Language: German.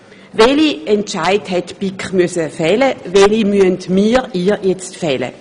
Welche Entscheide musste die BiK fällen, und welche müssen wir nun hier im Parlament fällen?